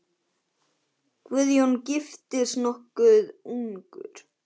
Guðjón giftist nokkuð ungur.